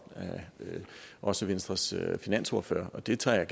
også venstres finansordfører så det tager jeg